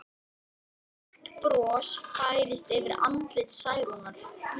Snjófríður, lækkaðu í græjunum.